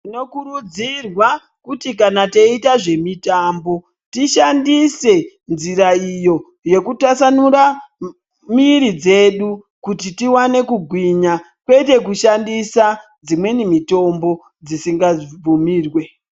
Tinokurudzirwa kuti kana teiita zvemitambo tishandise nzira iyo kutasamura miri dzedu. Kuti tivane kugwinya kwete kushandisa dzimweni mitombo dzisinga bvumirwe.